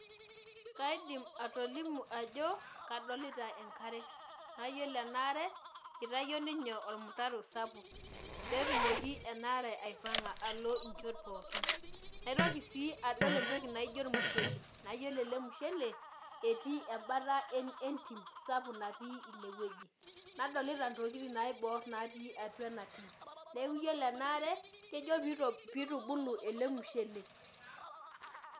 Kaidim atolimu ajo kadolita enkare. Na yiolo enaare, itayio ninye ormutaro sapuk, petumoki enaare aipang'a alo inchot pookin. Naitoki si adol entoki naijo ormushele. Na yiolo ele mushele, etii ebata entim sapuk natii inewueji. Nadolita intokiting naibor natii atua ina tim. Neeku yiolo enaare, kejo pitubulu ele mushele.